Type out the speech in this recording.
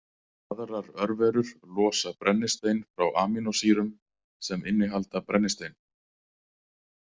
Aðrar örverur losa brennistein frá amínósýrum sem innihalda brennistein.